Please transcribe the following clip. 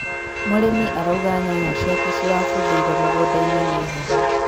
mũrĩmi araũnga nyanya cĩake cĩrambũthĩire mũgũnda-inĩ nĩ heho